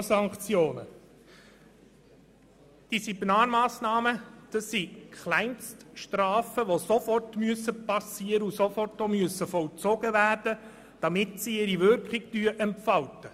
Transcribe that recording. Zum Antrag zu Artikel 49: Bei Disziplinarmassnahmen handelt es sich um Kleinststrafen, die sofort vollzogen werden müssen, damit sie ihre Wirkung entfalten.